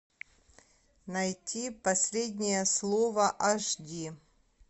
найти последнее слово аш ди